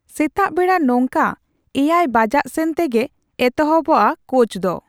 ᱥᱮᱛᱟᱜ ᱵᱮᱲᱟ ᱱᱝᱠᱟ ᱮᱭᱟᱭ ᱵᱟᱡᱟᱜ ᱥᱮᱱ ᱛᱮᱜᱮ ᱮᱛᱚᱦᱚᱵᱚᱜᱼᱟ ᱠᱳᱪ ᱫᱚ